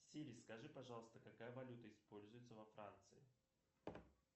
сири скажи пожалуйста какая валюта используется во франции